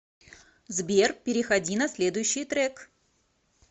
сбер переходи на следующий трек